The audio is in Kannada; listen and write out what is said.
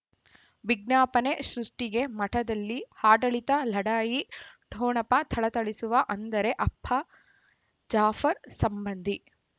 ವಿಜ್ಞಾಪನೆ ಸೃಷ್ಟಿಗೆ ಮಠದಲ್ಲಿ ಆಡಳಿತ ಲಢಾಯಿ ಠೊಣಪ ಥಳಥಳಿಸುವ ಅಂದರೆ ಅಪ್ಪ ಜಾಫರ್ ಸಂಬಂಧಿ